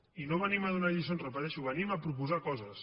i no venim a donar lliçons ho repeteixo venim a proposar coses